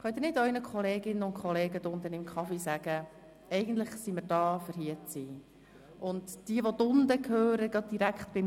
Könnten Sie nicht Ihren Kolleginnen und Kollegen, die sich unten im Café aufhalten, mitteilen, dass wir eigentlich da sind, um hier zu sein?